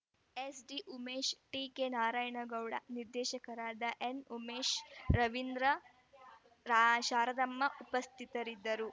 SD Umesh T K Narayana Gowda ನಿರ್ದೇಶಕರಾದ ಎನ್‌ಉಮೇಶ್‌ ರವೀಂದ್ರ ರಾ ಶಾರದಮ್ಮ ಉಪಸ್ಥಿತದ್ದರು